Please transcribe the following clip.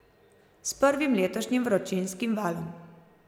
S prvim letošnjim vročinskim valom.